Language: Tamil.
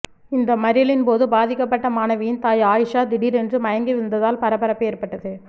இந்த மறியலின் போது பாதிக்கப்பட்ட மாணவியின் தாய் ஆயிஷா திடீரென்று மயங்கி விழுந்ததால் பரபரப்பு ஏற்பட்டது